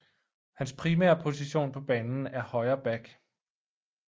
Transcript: Hans primære position på banen er højre back